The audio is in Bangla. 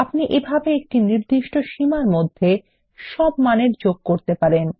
আপনি এভাবে একটি নির্দিষ্ট সীমার মধ্যে সব মানের যোগ করতে পারেন